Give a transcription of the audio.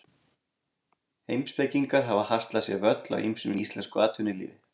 Heimspekingar hafa haslað sér völl á ýmsum sviðum í íslensku atvinnulífi.